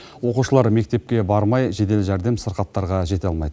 оқушылар мектепке бармай жедел жәрдем сырқаттарға жете алмайды